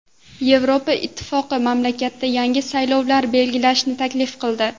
Yevropa Ittifoqi mamlakatda yangi saylovlar belgilashni taklif qildi.